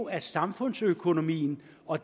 af samfundsøkonomien og